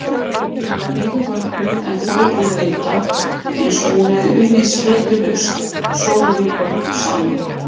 Hún var nývöknuð en þó úrvinda, einsog hún hefði unnið sleitulaust sólarhringum saman.